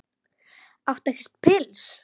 Áttu ekkert pils?